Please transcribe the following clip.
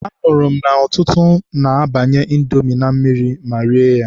Anụrụ m na ọtụtụ na-abanye Indomi na mmiri ma rie ya.